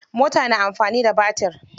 Mota na amfani da batir.